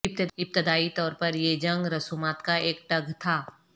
ابتدائی طور پر یہ جنگ رسومات کا ایک ٹگ تھا